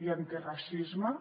i antiracisme